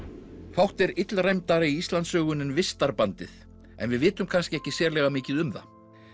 fátt er illræmdara í Íslandssögunni en vistarbandið en við vitum kannski ekki sérlega mikið um það